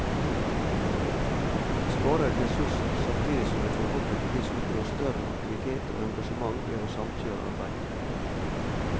Vi sparer ressurser, samtidig som vi forhåpentligvis oppnår større aktivitet og engasjement ved å samkjøre arbeidet.